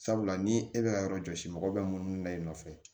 Sabula ni e bɛ ka yɔrɔ jɔsi mɔgɔ bɛ munumunu na i nɔfɛ